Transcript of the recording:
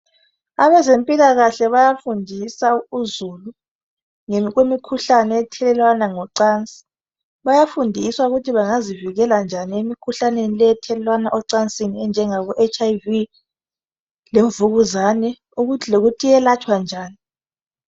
Abezempilakahle bayafundisa uzulu ngemikhuhlane ethelelwana ngocansi bayafundiswa ukuthi bengazivikela njani emikhuhlaneni leyi enjengabo HIV labomvukuzane lokuthi iyelatshwa njani.